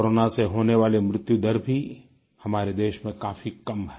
corona से होने वाली मृत्यु दर भी हमारे देश में काफी कम है